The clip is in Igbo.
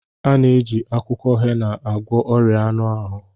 A na-eji akwụkwọ hena agwọ ọrịa anụ ahụ